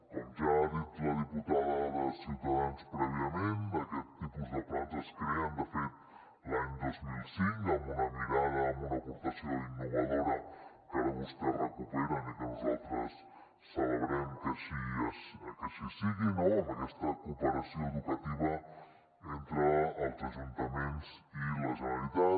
com ja ha dit la diputada de ciutadans prèviament aquest tipus de plans es creen de fet l’any dos mil cinc amb una mirada amb una aportació innovadora que ara vostès recuperen i que nosaltres celebrem que així sigui no amb aquesta cooperació educativa entre els ajuntaments i la generalitat